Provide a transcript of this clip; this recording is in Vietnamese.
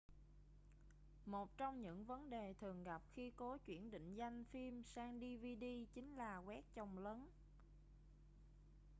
một trong những vấn đề thường gặp khi cố chuyển định danh phim sang dvd chính là quét chồng lấn